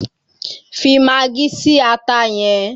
Fi magí si ata yẹn!